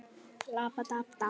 Þegar upp er staðið?